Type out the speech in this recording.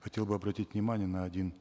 хотел бы обратить внимание на один